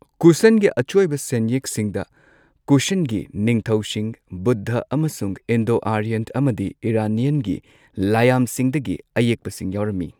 ꯀꯨꯁꯥꯟꯒꯤ ꯑꯆꯣꯏꯕ ꯁꯦꯟꯌꯦꯛꯁꯤꯡꯗ ꯀꯨꯁꯥꯟꯒꯤ ꯅꯤꯡꯊꯧꯁꯤꯡ, ꯕꯨꯗꯙ, ꯑꯃꯁꯨꯡ ꯏꯟꯗꯣ ꯑꯥꯔꯌꯟ ꯑꯃꯗꯤ ꯏꯔꯥꯅꯤꯌꯟꯒꯤ ꯂꯥꯏꯌꯥꯝꯁꯤꯡꯗꯒꯤ ꯑꯌꯦꯛꯄꯁꯤꯡ ꯌꯥꯎꯔꯝꯃꯤ꯫